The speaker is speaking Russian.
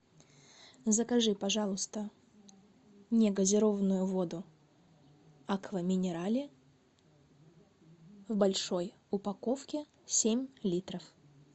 закажи пожалуйста негазированную воду аква минерале в большой упаковке семь литров